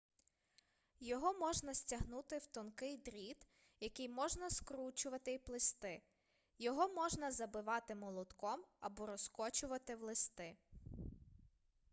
його можна стягнути в тонкий дріт який можна скручувати й плести його можна забивати молотком або розкочувати в листи